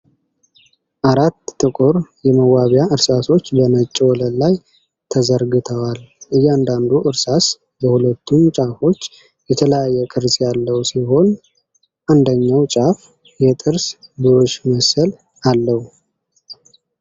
አራት ጥቁር የመዋቢያ እርሳሶች በነጭ ወለል ላይ ተዘርግተዋል። እያንዳንዱ እርሳስ በሁለቱም ጫፎች የተለያየ ቅርፅ ያለው ሲሆን፣ አንደኛው ጫፍ የጥርስ ብሩሽ መሰል አለው።